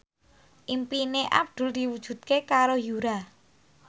impine Abdul diwujudke karo Yura